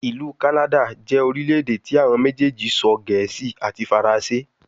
Ilu Kanada jẹ orilẹ-ede ti awọn mejeeji sọ Gẹẹsi ati Faranse